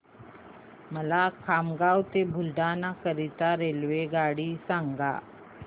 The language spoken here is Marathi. मला खामगाव ते बुलढाणा करीता रेल्वेगाडी सांगा